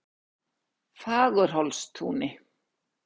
Fagurhólstúni